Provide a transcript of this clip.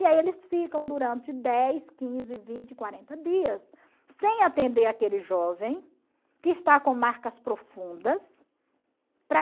E aí eles ficam durante dez, quinze, vinte, quarenta dias sem atender aquele jovem que está com marcas profundas.